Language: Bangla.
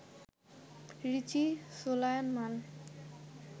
রিচি সোলায়মান